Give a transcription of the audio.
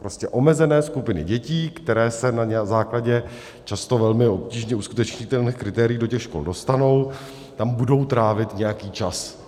Prostě omezené skupiny dětí, které se na základě často velmi obtížně uskutečnitelných kritérií do těch škol dostanou, tam budou trávit nějaký čas.